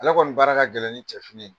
Ala kɔni baara ka gɛlɛn ni cɛfini ye.